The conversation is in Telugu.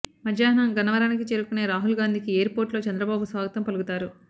మధ్యాహ్నం గన్నవరానికి చేరుకునే రాహుల్ గాంధీకి ఎయిర్ పోర్టులో చంద్రబాబు స్వాగతం పలుకుతారు